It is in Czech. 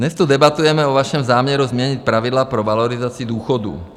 Dnes tu debatujeme o vašem záměru změnit pravidla pro valorizaci důchodů.